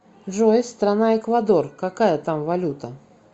джой страна эквадор какая там валюта